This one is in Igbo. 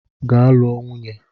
Gaa lụọ nwunye!